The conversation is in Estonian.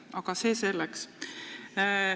Aga see selleks.